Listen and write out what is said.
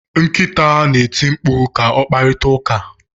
Nkịta na-eti mkpu ka o kparịta ụka.